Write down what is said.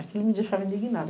Aquilo me deixava indignada.